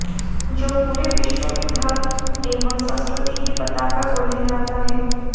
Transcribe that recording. जो पूरे विश्व में धर्म एवं संस्कृति की पताका को लहराता है